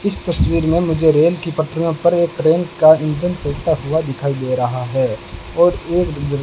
इस तस्वीर में मुझे रेल की पटरियों पर एक ट्रेन का इंजन चलता हुआ दिखाई दे रहा है और एक --